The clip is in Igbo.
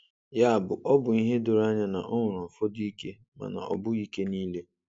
Ya bụ, ọ bụ ihe doro anya na o nwere ụfọdụ ike, mana ọ bụghị ike niile.